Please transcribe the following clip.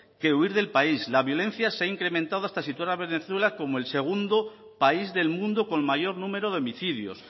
que huir del país la violencia se ha incrementado hasta situar a venezuela como el segundo país del mundo con mayor número de homicidios